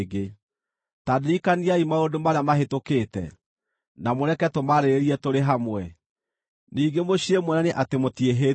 Ta ndirikaniai maũndũ marĩa mahĩtũkĩte, na mũreke tũmaarĩrĩrie tũrĩ hamwe; ningĩ mũciire muonanie atĩ mũtiĩhĩtie.